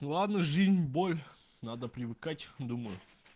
ладно жизнь боль надо привыкать думаю